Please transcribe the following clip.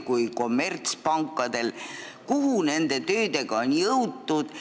Kuhumaani nende töödega jõutud on?